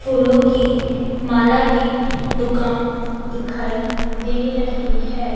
फूलों की माला की दुकान दिखाई दे रही है।